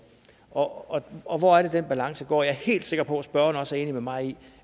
og og hvor er det den balance går jeg er helt sikker på at spørgeren også er enig med mig i